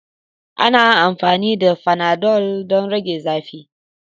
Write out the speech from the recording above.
Ana amfani da fanadol don rage zafi.